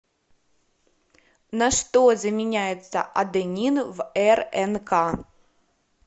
на что заменяется аденин в рнк